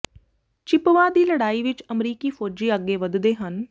Chippawa ਦੀ ਲੜਾਈ ਵਿਚ ਅਮਰੀਕੀ ਫੌਜੀ ਅੱਗੇ ਵਧਦੇ ਹਨ